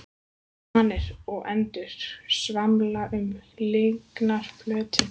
Svanir og endur svamla um lygnan flötinn.